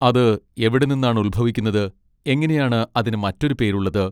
അത് എവിടെ നിന്നാണ് ഉത്ഭവിക്കുന്നത്, എങ്ങനെയാണ് അതിന് മറ്റൊരു പേര് ഉള്ളത്?